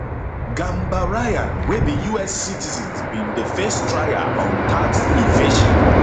gambaryan wey be us citizen bin dey face trial on tax evasion